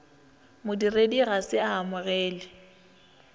modiredi ga se a amogele